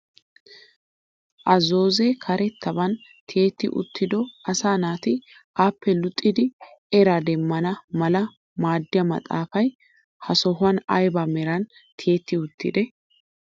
A zoozee karettaban tiyetti uttido asaa naati appe luxxidi eraa demmana mala maaddiyaa maxaafay ha sohuwaan ayba meran tiyetti uttidee?